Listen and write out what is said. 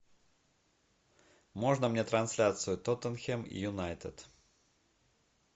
можно мне трансляцию тоттенхэм юнайтед